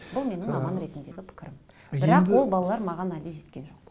бұл менің маман ретіндегі пікірім бірақ ол балалар маған әлі жеткен жоқ